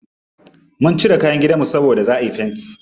Mun cire kayan gidanmu saboda za'a yi fenti.